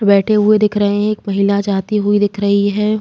बेठे हुए दिख रहे हैं। एक महिला जाती हुई दिख रही है।